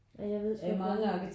Ej jeg ved sgu ikke rigtig